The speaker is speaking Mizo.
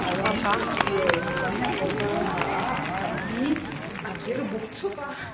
a rawng chu a gray mipa hian kawr var a ha a a sam hi a kir buk chhup a.